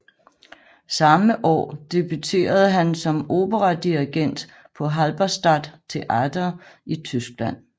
Samme år debuterede han som operadirigent på Halberstadt Theater i Tyskland